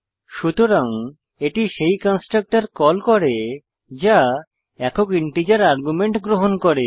সুতরাং এটি সেই কন্সট্রকটর কল করে যা একক ইন্টিজার আর্গুমেন্ট গ্রহণ করে